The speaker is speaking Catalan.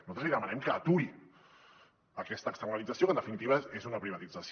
nosaltres li demanem que aturi aquesta externalització que en definitiva és una privatització